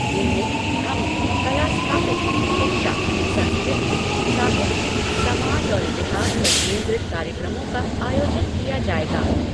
इनमें धम्म, कला स्थापना, शिक्षा, संस्कृति, साहित्य, समाज और इतिहास पर केंद्रित कार्यक्रमों का आयोजन किया जाएगा।